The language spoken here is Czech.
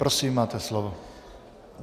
Prosím, máte slovo.